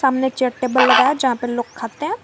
ने chair table लगा है जहां पर लोग खाते हैं।